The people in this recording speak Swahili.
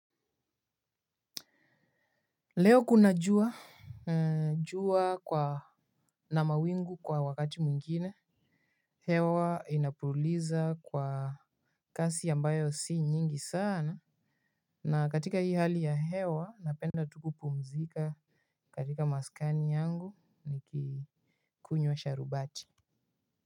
Leo kuna jua na mawingu kwa wakati mwingine. Hewa inapuliza kwa kasi ambayo si nyingi sana. Na katika hii hali ya hewa napenda tu kupumzika katika maskani yangu nikikunywa sharubati.